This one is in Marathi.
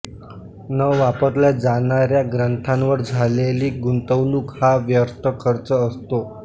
न वापरल्या जाणाऱ्या ग्रंथांवर झालेली गुंतवणूक हा व्यर्थ खर्च असतो